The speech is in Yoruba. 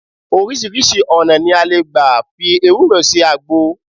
Oríṣiríṣi ọ̀nà ni a lè gbà fi ewúro ṣe àgbo